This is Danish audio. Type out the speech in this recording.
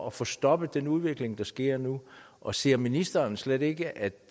at få stoppet den udvikling der sker nu og ser ministeren slet ikke at